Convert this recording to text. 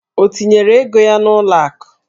O tinyere ego ya n'ụlọ akụ?